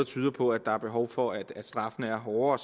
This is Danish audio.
tyder på at der er behov for at straffen er hårdere